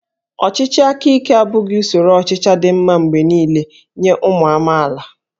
Ọchịchị aka ike abụghị usoro ọchịchị dị mma mgbe niile nye ụmụ amaala